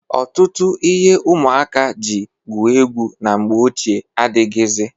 Ọtụtụ ihe ụmụaka ji gwue egwu na mgbe ochie adịghịzị.